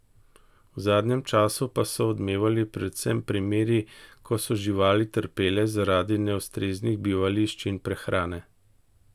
V zadnjem času pa so odmevali predvsem primeri, ko so živali trpele zaradi neustreznih bivališč in prehrane.